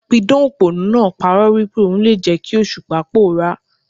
A pidàn òpònú náà pa'rọ́ wípé ò n le jẹ́ kí Òṣùpá pòórá.